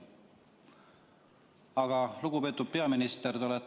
Aga lugupeetud peaminister!